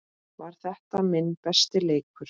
Var þetta minn besti leikur?